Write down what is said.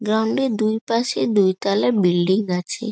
Ground -এর দুইপাশে দুই তালা বিল্ডিং আছে।